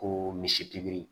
Ko misi pikiri